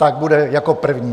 Tak bude jako první.